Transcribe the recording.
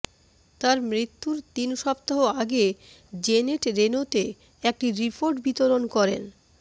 তার মৃত্যুর তিন সপ্তাহ আগে জেনেট রেনোতে একটি রিপোর্ট বিতরণ করেন